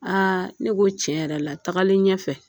ne ko tiɲɛ yɛrɛ la tagalen ɲɛfɛ.